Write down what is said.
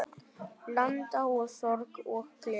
Blanda af sorg og gleði.